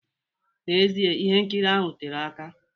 N'ezie, ihe nkiri ahụ tere aka.